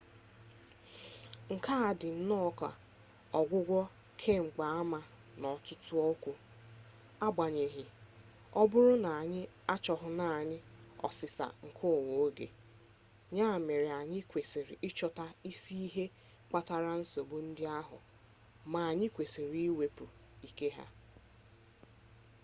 nke a dị nnọọ ka ọgwụgwọ kemgbaama n'ọtụtụ okwu agbanyeghị ọ bụrụ na anyị achọghị naanị ọsịsa nke nwa oge ya mere anyị kwesịrị ịchọta isi ihe kpatara nsogbu ndị ahụ ma anyị kwesịrị iwepụ ike ha